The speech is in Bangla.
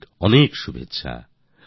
অনেক অনেক শুভেচ্ছা